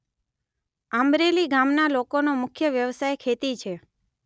આંબરેલી ગામના લોકોનો મુખ્ય વ્યવસાય ખેતી છે